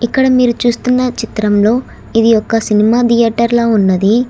ఇక్కడ మీరు చూస్తున్న చిత్రంలో ఇది ఒక సినిమా ధియేటర్ లా ఉన్నది.